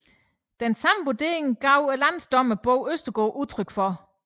Samme vurdering gav landsdommer Bo Østergaard udtryk for